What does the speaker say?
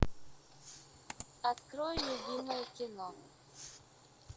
открой любимое кино